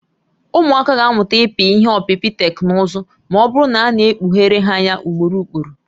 Ụmụaka ga-amụta ịpị ihé ọpịpị teknụzụ ma ọ bụrụ na a na-ekpughere ha ya ugboro ugboro